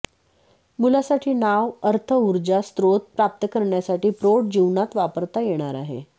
मुलासाठी नाव अर्थ ऊर्जा स्त्रोत प्राप्त करण्यासाठी प्रौढ जीवनात वापरता येणार आहे